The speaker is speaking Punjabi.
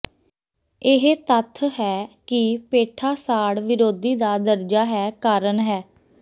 ਇਹ ਤੱਥ ਹੈ ਕਿ ਪੇਠਾ ਸਾੜ ਵਿਰੋਧੀ ਦਾ ਦਰਜਾ ਹੈ ਕਾਰਨ ਹੈ